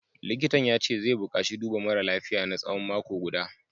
Likitan ya ce zai bukaci duba mara lafiyar na tsawon mako guda